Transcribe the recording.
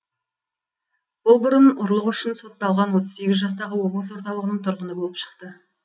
бұл бұрын ұрлық үшін сотталған отыз сегіз жастағы облыс орталығының тұрғыны болып шықты